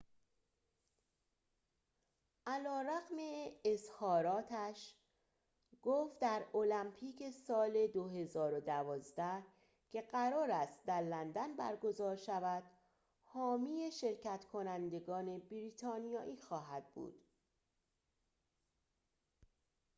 علی‌رغم اظهاراتش گفت در المپیک سال ۲۰۱۲ که قرار است در لندن برگزار شود حامی شرکت‌کنندگان بریتانیایی خواهد بود